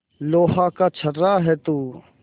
लोहा का छर्रा है तू